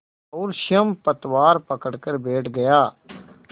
और स्वयं पतवार पकड़कर बैठ गया